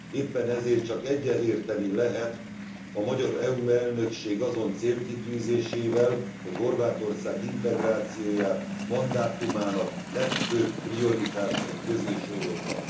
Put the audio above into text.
Éppen ezért csak egyetérteni lehet a magyar EU elnökség azon célkitűzésével, hogy Horvátország integrációját mandátumának legfőbb prioritásai közé sorolta.